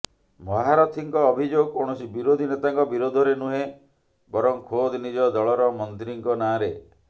ମହାରଥୀଙ୍କ ଅଭିଯୋଗ କୌଣସି ବିରୋଧୀ ନେତାଙ୍କ ବିରୋଧରେ ନୁହେଁ ବରଂ ଖୋଦ୍ ନିଜ ଦଳର ମନ୍ତ୍ରୀଙ୍କ ନାଁରେ